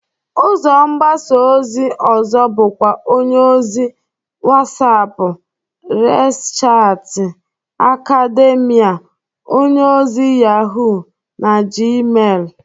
Ụzọ mgbasa ozi ọzọ bụkwa onyeozi Whatsap, Resachgati, Akademia, onyeozi Yahụ, na Gmel.